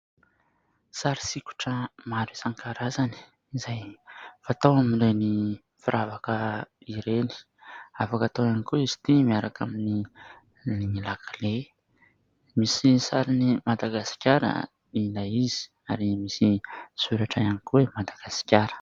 Sary sikotra maro isan-karazany izay fatao amin'ireny firavaka ireny. Afaka atao ihany koa izy ity miaraka amin'ny lakle. Misy ny sarin'i Madagasikara ilay izy ary misy soratra ihany koa hoe Madagasikara.